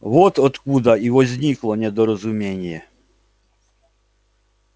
вот откуда и возникло недоразумение